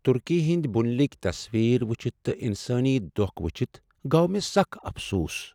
ترکی ہٕنٛدۍ بُنیلکۍ تصویر وٕچھتھ تہ انسٲنی دۄکھ وچھتھ گوٚو مےٚ سخ افسوس۔